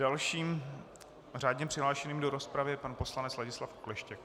Dalším řádně přihlášeným do rozpravy je pan poslanec Ladislav Okleštěk.